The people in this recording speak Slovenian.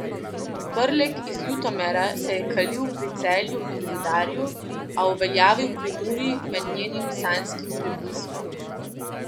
Prlek iz Ljutomera se je kalil pri Celju in Rudarju, a uveljavil pri Muri med njenim sanjskim prebliskom.